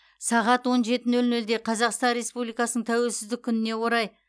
сағат он жеті нөл нөлде қазақстан республикасының тәуелсіздік күніне орай